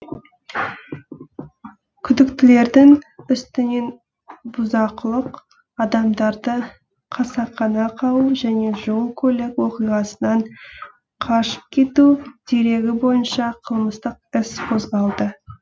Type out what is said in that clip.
күдіктілердің үстінен бұзақылық адамдарды қасақана қағу және жол көлік оқиғасынан қашып кету дерегі бойынша қылмыстық іс қозғалды